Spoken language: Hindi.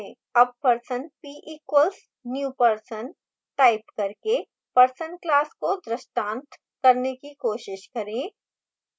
अब person p equals new person type करके person class को दृष्टांत करने की कोशिश करें